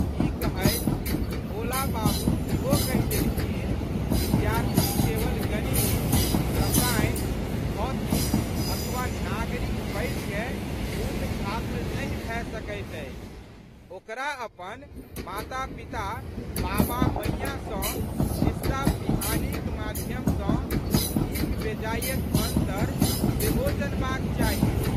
ई कहैत भोला बाबू ईहो कहि देलखिन विद्यार्थी केवल गणित, रसायन, भौतिक अथवा नागरिक पढ़िकए पूर्ण छात्र नहि भए सकैत अछि ओकरा अपन मातापिता, बाबामैंयाँ सँ खिस्सापिहानीक माध्यम सँ नीकबेजायक अन्तर सेहो जनबाक चाही।